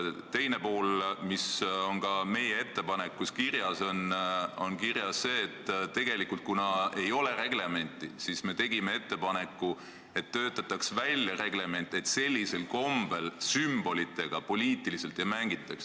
Teiseks on meie ettepanekus kirjas ka see, et kuna selle kohta reglementi ei ole, siis võiks välja töötada korra, et sümbolitega sellisel kombel, nagu teie seda olete teinud, poliitiliselt ei mängitaks.